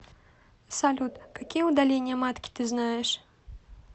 салют какие удаление матки ты знаешь